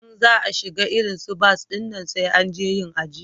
In za a shiga irin su bas dinnan sai an je yin ajiya